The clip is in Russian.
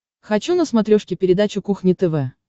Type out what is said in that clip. хочу на смотрешке передачу кухня тв